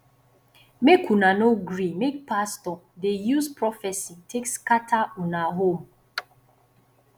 make una no dey gree make pastor dey use prophesy take scatter una home